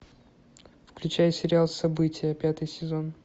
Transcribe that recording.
включай сериал события пятый сезон